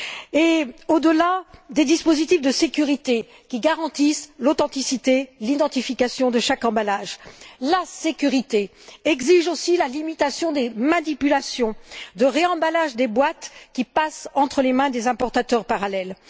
Et au delà des dispositifs de sécurité qui garantissent l'authenticité, l'identification de chaque emballage, la sécurité exige aussi la limitation des manipulations de réemballage des boîtes, qui passent entre les mains des importateurs parallèles.